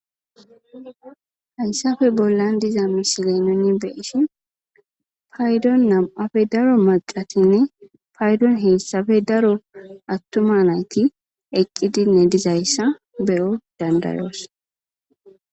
haysafe bollan diza misiley nuni beishi paydon nam7afe daro maqatinne paydon heessafe daro attuma nayti eqqidinne dizayssa bero dandayoos